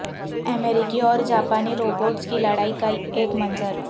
امریکی اور جاپانی روبوٹس کی لڑائی کا ایک منظر